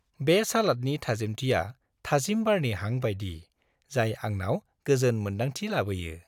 बे सालादनि थाजिमथिया थाजिम बारनि हां बायदि जाय आंनाव गोजोन मोन्दांथि लाबोयो।